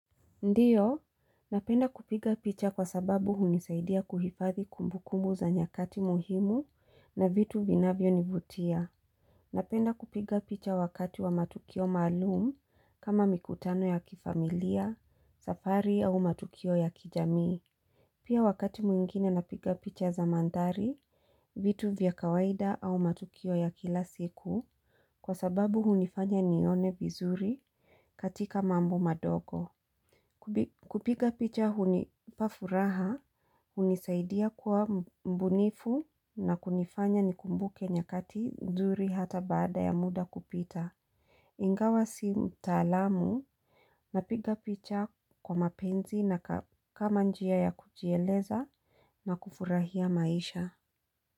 Ndiyo, napenda kupiga picha kwa sababu hunisaidia kuhifathi kumbukumbu za nyakati muhimu na vitu viinavyo nivutia. Napenda kupiga picha wakati wa matukio maalum kama mikutano ya kifamilia, safari au matukio ya kijamii. Pia wakati mwingine napiga picha za mandhari, vitu vya kawaida au matukio ya kila siku kwa sababu hunifanya nione vizuri katika mambo madogo. Kupiga picha unipa furaha, hunisaidia kuwa mbunifu na kunifanya nikumbuke nyakati nzuri hata bada ya muda kupita Ingawa si utalamu napiga picha kwa mapenzi na kama njia ya kujieleza na kufurahia maisha.